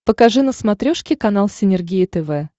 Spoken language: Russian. покажи на смотрешке канал синергия тв